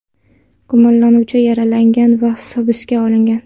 Gumonlanuvchi yaralangan va hibsga olingan.